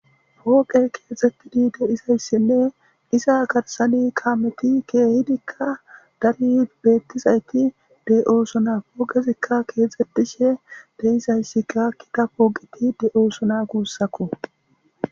Hooqe keexxettidi deizayssinne iza garsani kameti keehidikka dari beettizayti de'oosona pooqezikka keexxetishe deizayssika kita pooqiti de'oosona guussakko.